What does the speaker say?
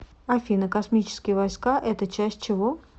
афина космические войска это часть чего